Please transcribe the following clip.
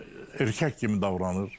Yəni erkək kimi davranır.